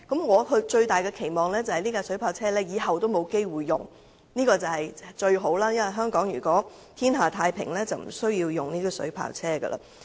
我最大的期望是，未來不會有機會出動水炮車，這是最好的，因為如果香港天下太平，就無須使用水炮車。